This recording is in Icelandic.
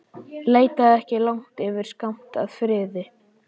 Leitaðu ekki langt yfir skammt að friði.